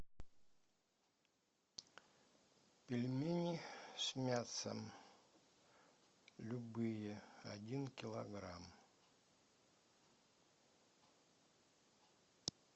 пельмени с мясом любые один килограмм